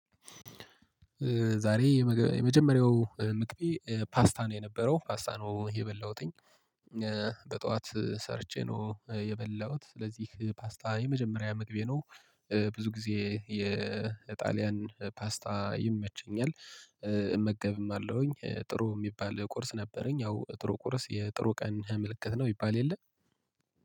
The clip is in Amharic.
ዛሬ የመጀመሪያው ምግቤ ፓስታ ነው የነበረው ፓስታ ነው የበላሁትኝ። በጠዋት ሰርቼ ነው የበላሁት ስለዚህ ፓስታ የመጀመሪያ ምግቤ ነው። ብዙ ጊዜ የጣሊያን ፓስታ ይመቸኛል። እመገብም አለውኝ ጥሩ የሚባል ቁርስ ነበረኝ። ያው ጥሩ ቁርስ የጥሩ ቀን ህምልክት ነው ይባል የለም